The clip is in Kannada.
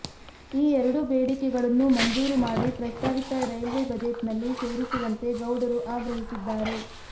ಈ ಎರಡೂ ಬೇಡಿಕೆಗಳನ್ನು ಮಂಜೂರು ಮಾಡಿ ಪ್ರಸ್ತಾವಿತ ರೈಲ್ವೆ ಬಜೆಟ್ನಲ್ಲಿ ಸೇರಿಸುವಂತೆ ಗೌಡರು ಆಗ್ರಹಿಸಿದ್ದಾರೆ